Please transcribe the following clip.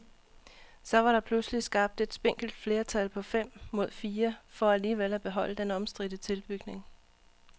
Så var der pludselig skabt et spinkelt flertal på fem mod fire for alligevel at beholde den omstridte tilbygning.